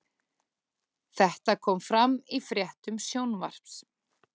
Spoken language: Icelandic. Þetta kom fram í fréttum Sjónvarps